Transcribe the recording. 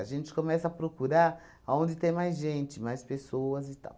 A gente começa a procurar aonde tem mais gente, mais pessoas e tal.